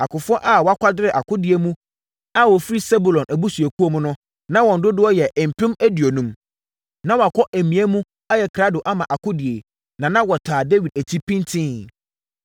Akofoɔ a wɔakwadare akodie mu a wɔfiri Sebulon abusuakuo mu no, na wɔn dodoɔ yɛ mpem aduonum (50,000). Na wɔakɔ amia mu ayɛ krado ama akodie, na na wɔtaa Dawid akyi pintinn.